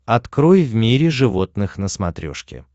открой в мире животных на смотрешке